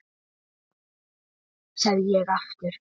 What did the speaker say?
Nei, segi ég aftur.